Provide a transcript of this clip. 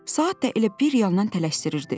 Saat da elə bir yandan tələsdirirdi: